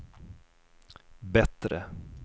bättre